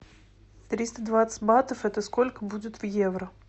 триста двадцать батов это сколько будет в евро